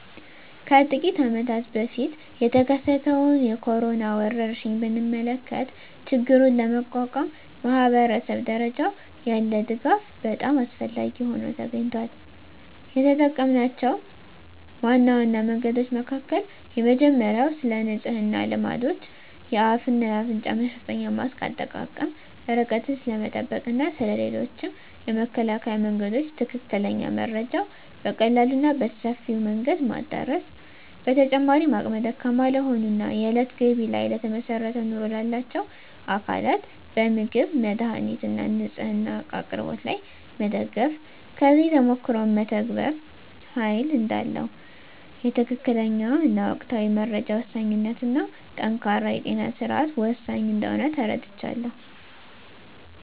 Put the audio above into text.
ከጥቂት አመታት በፊት የተከሰተውን የኮሮና ወረርሽኝ ብንመለከ ችግሩን ለመቋቋም ማኅበረሰብ ደረጃ ያለ ድጋፍ በጣም አስፈላጊ ሆኖ ተገኝቷል። የተጠምናቸው ዋና ዋና መንገዶች መካከል የመጀመሪያው ስለንጽህና ልማዶች፣ የአፍ እና አፍንጫ መሸፈኛ ማስክ አጠቃቀም፣ ርቀትን ስለመጠበቅ እና ስለ ሌሎችም የመከላከያ መንገዶች ትክክለኛ መረጃ በቀላሉ እና በሰፊው መንገድ ማዳረስ። በተጨማሪም አቅመ ደካማ ለሆኑ እና የእለት ገቢ ላይ ለተመሰረተ ኑሮ ላላቸው አካላት በምግብ፣ መድሃኒት እና ንፅህና እቃ አቅርቦት ላይ መደገፍ። ከዚህ ተሞክሮም መተባበር ኃይል እዳለው፣ የትክክለኛ እና ወቅታዊ መረጃ ወሳኝነት እና ጠንካራ የጤና ስርዓት ወሳኝ እንደሆነ ተረድቻለሁ።